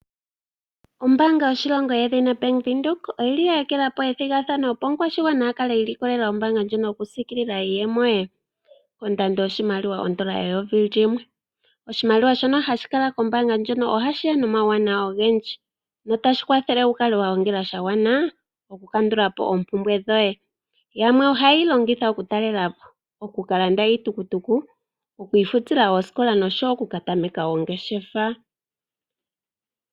Ombaanga yoshilongo yedhina Bank Windhoek oyili ya ekela po ethigathano opo omukwashigwana akale iilikolela ombaanga ndjono yokusiikilila iiyemo ye, ondando yoshimaliwa ondola eyovi limwe. Oshimaliwa shono hashikala kombaanga ndjino ohashiya nomawuwanawa ogendji na otashi kwathele wukale wagongela oshimaliwa shagwana okukandula po oompumbwe dhoye, yamwe ohaye yi longitha okutalela po, okukalanda iitukutuku, oku ifutila osikola nosho wo okukatameka ongeshefa.